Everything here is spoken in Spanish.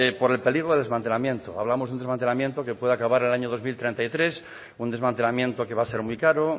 por el peligro del desmantelamiento hablamos de un desmantelamiento que puede acabar en el año dos mil treinta y tres un desmantelamiento que va a ser muy caro